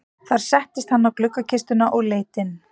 Þar settist hann á gluggakistuna og leit inn.